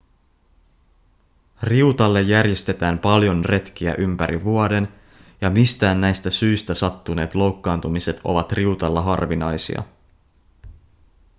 riutalle järjestetään paljon retkiä ympäri vuoden ja mistään näistä syistä sattuneet loukkaantumiset ovat riutalla harvinaisia